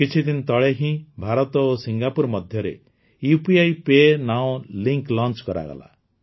କିଛିଦିନ ତଳେ ହିଁ ଭାରତ ଓ ସିଙ୍ଗାପୁର ମଧ୍ୟରେ UPI PayNow link launch କରାଗଲା